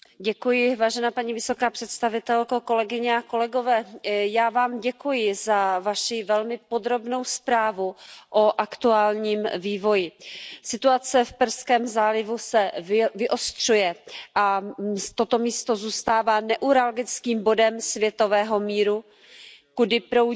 Pane předsedající, paní vysoká představitelko, já vám děkuji za Vaši velmi podrobnou zprávu o aktuálním vývoji. Situace v Perském zálivu se vyostřuje a toto místo zůstává neuralgickým bodem světového míru, kudy proudí